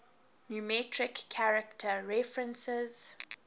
numeric character references